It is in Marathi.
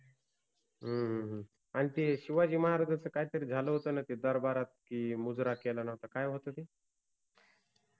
हम्म आणि ते शिवाजि महाराजांच काय तरि झाल होत न ते दरबारात कि मुजरा केला नव्हता काय होत ते